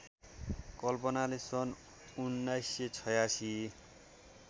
कल्पनाले सन् १९८६